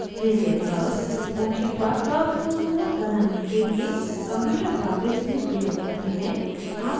bezier curves मुख्यतः curves को smoother बनाने के लिए computer graphics में प्रयोग होते हैं